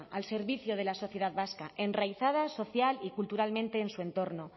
al servicio de la sociedad vasca enraizada social y culturalmente en su entorno